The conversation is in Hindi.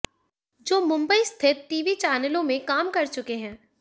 जो मुंबई स्थित टीवी चैनलों में काम कर चुके हैं